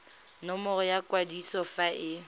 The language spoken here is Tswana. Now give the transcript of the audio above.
nomoro ya kwadiso fa e